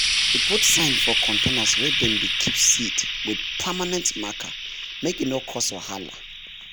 we put sign for containers wey dem dey keep seed with permanent marker make e no cause whala